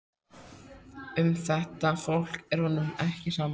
Um þetta fólk er honum ekki sama.